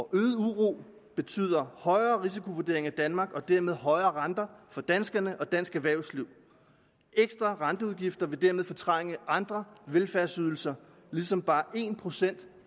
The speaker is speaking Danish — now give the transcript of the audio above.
øget uro betyder højere risikovurdering af danmark og dermed højere renter for danskerne og dansk erhvervsliv ekstra renteudgifter vil dermed fortrænge andre velfærdsydelser ligesom bare en procent